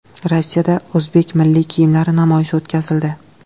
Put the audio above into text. Rossiyada o‘zbek milliy kiyimlari namoyishi o‘tkazildi.